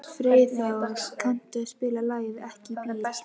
Freyþór, kanntu að spila lagið „Ekki bíl“?